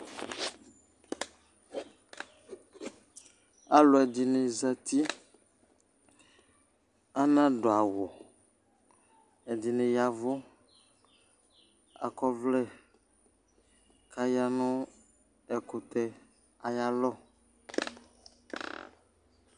alò ɛdini zati ana du awu ɛdini ya vu akɔ ɔvlɛ k'aya no ɛkutɛ ayi alɔ